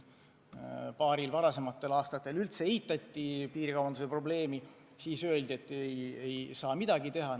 Paaril varasemal aastal piirikaubanduse probleemi eitati, siis aga öeldi, et ei saa midagi teha.